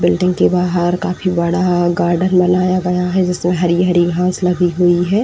Building के बाहर काफी बड़ा गार्डन बनाया गया है। जिसमें हरी हरी घास लगी गई हुई है।